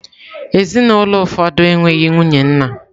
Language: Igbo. Ezinụlọ ụfọdụ enweghị nwunye nna.